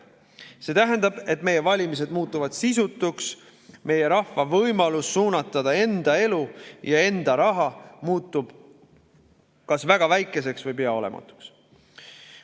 See tähendab, et meie valimised muutuvad sisutuks, meie rahva võimalus suunata enda elu ja enda raha muutub kas väga väikeseks või pea olematuks.